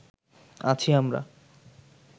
আছি আমরা